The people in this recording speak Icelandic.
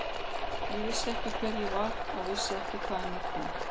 Ég vissi ekki hver ég var og vissi ekki hvaðan ég kom.